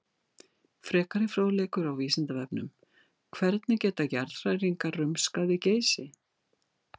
Frekari fróðleikur á Vísindavefnum: Hvernig geta jarðhræringar rumskað við Geysi?